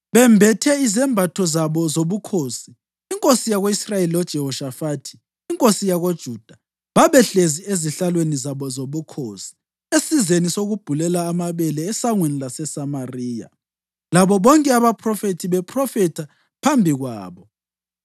Bembethe izembatho zabo zobukhosi, inkosi yako-Israyeli loJehoshafathi inkosi yakoJuda babehlezi ezihlalweni zabo zobukhosi esizeni sokubhulela amabele esangweni laseSamariya labo bonke abaphrofethi bephrofetha phambi kwabo.